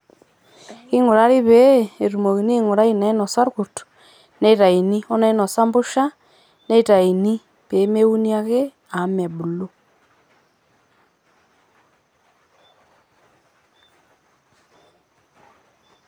king'urari pee etumokini aing'urai inainosa irkurt neitayuni o nainosa empusha netayuni peemeuni ake amu mebulu.